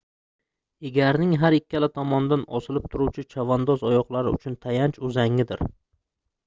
egarning har ikkala tomonidan osilib turuvchi chavandoz oyoqlari uchun tayanch uzangdir